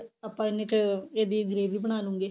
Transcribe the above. ਆਪਾਂ ਇੰਨੇ ਚ ਇਹਦੀ gravy ਬਣਾਲੂੰਗੇ